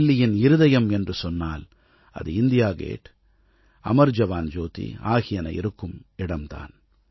தில்லியின் இருதயம் என்று சொன்னால் அது இண்டியா கேட் அமர் ஜவான் ஜோதி ஆகியன இருக்குமிடம் தான்